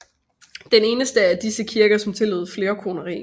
Den eneste af disse kirker som tillod flerkoneri